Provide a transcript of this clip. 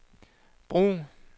brug